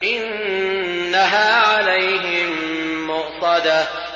إِنَّهَا عَلَيْهِم مُّؤْصَدَةٌ